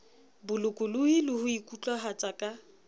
bolokolohi le ho ikutlwahatsa ka